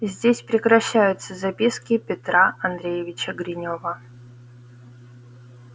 здесь прекращаются записки петра андреевича гринёва